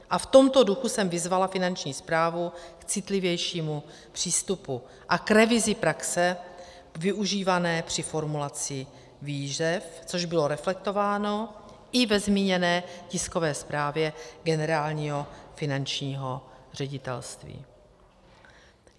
A v tomto duchu jsem vyzvala Finanční správu k citlivějšímu přístupu a k revizi praxe využívané při formulaci výzev, což bylo reflektováno i ve zmíněné tiskové zprávě Generálního finančního ředitelství.